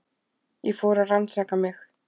Ég fór að rannsaka mig.